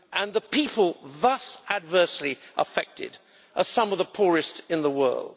The people adversely affected are some of the poorest in the world.